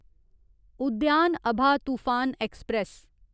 उद्यान अभा तूफान ऐक्सप्रैस